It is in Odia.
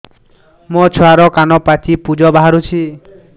ମୋ ଛୁଆର କାନ ପାଚି ପୁଜ ବାହାରୁଛି